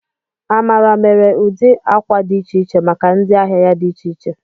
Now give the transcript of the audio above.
Amara mere ụdị akwa dị iche iche maka ndị ahịa ya dị iche iche.